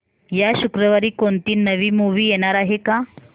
या शुक्रवारी कोणती नवी मूवी येणार आहे का